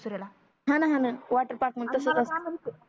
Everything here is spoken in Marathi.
हा णा हा णा वॉटर पार्क तसच असत अन मला काय म्हणते